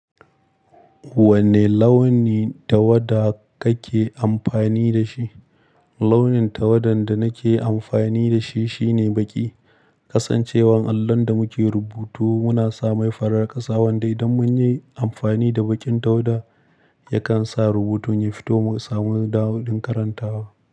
Wanne launi tawada kake amfani da shi? Launin tawadan da nake amfani da shi shine baƙi. Kasancewan allon da muke rubutu muna sama farar ƙasa, wanda idan mun yi amfani da baƙin tawada yakan sa rubutun ya fito masa da wadin karantawa.